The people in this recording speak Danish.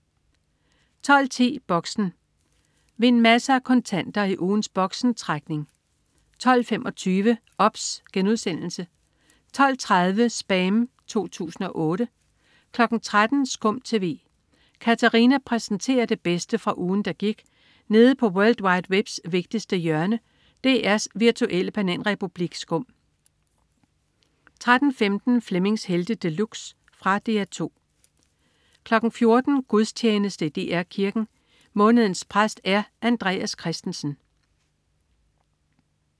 12.10 Boxen. Vind masser af kontanter i ugens Boxen-trækning 12.25 OBS* 12.30 SPAM 2008* 13.00 SKUM TV. Katarina præsenterer det bedste fra ugen, der gik nede på world wide webs vigtigste hjørne, DR's virtuelle bananrepublik SKUM 13.15 Flemmings Helte De Luxe. Fra DR 2 14.00 Gudstjeneste i DR Kirken. Månedens præst er Andreas Christensen